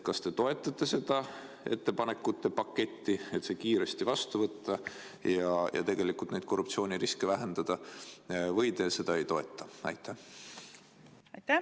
Kas te toetate seda ettepanekute paketti, et see kiiresti vastu võtta ja korruptsiooniriski vähendada, või te ei toeta seda?